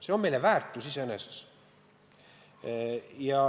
See on meile väärtus iseeneses.